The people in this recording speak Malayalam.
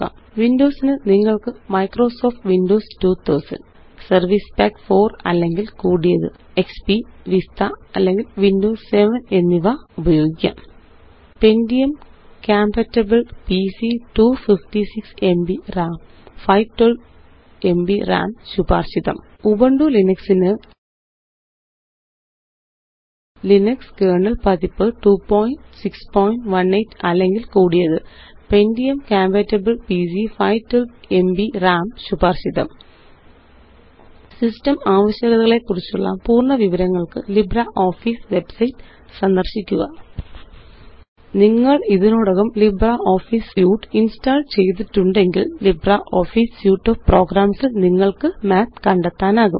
വിൻഡോസ് ന്നിങ്ങള്ക്ക്Microsoft വിൻഡോസ് 2000 സെർവൈസ് പാക്ക് 4 അല്ലെങ്കില്കൂടിയത് എക്സ്പി വിസ്റ്റ അല്ലെങ്കില് വിൻഡോസ് 7 എന്നിവ ഉപയോഗിക്കാം pentium compatible PC 256 MB RAM 512 MB RAM ശുപാര്ശിതം ഉബുന്റു ലിനക്സ് ന് ലിനക്സ് കെർണൽ പതിപ്പ് 2618 അല്ലെങ്കില് കൂടിയത് pentium കമ്പാറ്റിബിൾ പിസി 512എംബി റാം ശുപാര്ശിതം സിസ്റ്റം ആവശ്യകതകളെക്കുറിച്ചുള്ള പൂര്ണ്ണ വിവരങ്ങള്ക്ക് ലിബ്രിയോഫീസ് വെബ്സൈറ്റ് സന്ദര്ശിക്കുക നിങ്ങള് ഇതിനോടകം ലിബ്രിയോഫീസ് സ്യൂട്ട് ഇന്സ്റ്റാള് ചെയ്തിട്ടുണ്ടെങ്കില് ലിബ്രിയോഫീസ് സ്യൂട്ട് ഓഫ് പ്രോഗ്രാംസ് ല് നിങ്ങള്ക്ക് മാത്ത് കണ്ടെത്താനാകും